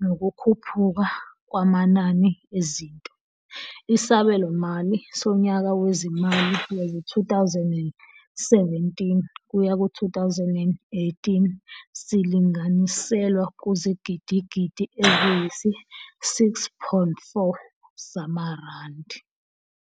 nokukhuphuka kwamanani ezinto, isabelomali sonyaka wezimali wezi-2017 kuya ku-2018 silinganiselwa kuzigidigidi eziyisi-6.4 zamarandi.